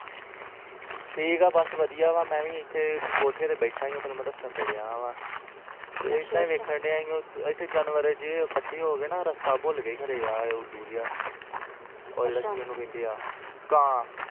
ਠੀਕ ਆ ਬਸ ਵਧੀਆ ਵਾ ਮਏ ਵੀ ਇੱਥੇ ਕੋਠੇ ਤੇ ਬੈਠਾ ਸ ਤੇ ਹੁਣ ਵੇਹਲਾ ਰੀਲ ਵੇਖਣ ਦਾ ਸੀ ਤੇ ਇੱਥੇ ਜਾਨਵਰ ਖੜ੍ਹੇ ਰਾਸ਼ਤਾ ਭੁੱਲਗੇ ਆਹ ਉਲੂ ਜਾ ਕਾਂ ਵਾ